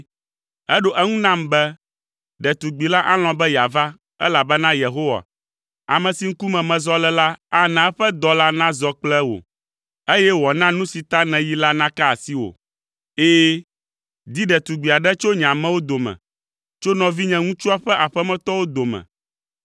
“Eɖo eŋu nam be, ‘Ɖetugbi la alɔ̃ be yeava, elabena Yehowa, ame si ŋkume mezɔ le la ana eƒe dɔla nazɔ kple wò, eye wòana nu si ta nèyi la naka asiwò. Ɛ̃, di ɖetugbi aɖe tso nye amewo dome, tso nɔvinyeŋutsua ƒe aƒemetɔwo dome.